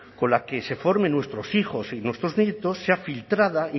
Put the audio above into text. con la que se formen nuestros hijos y nuestros nietos se ha filtrada